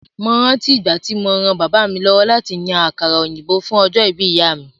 Mo rántí ìgbà tí mo ran bàbá mi lọ́wọ́ láti yan àkàrà òyìnbó fún ọjọ́ ìbí ìyá mi.